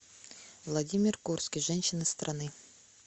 владимир курский женщины страны